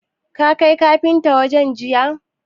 Ka kai katifan waje jiya?